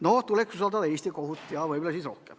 No tuleks siiski usaldada Eesti kohut.